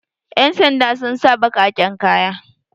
yansanda sun sa bakaken kaya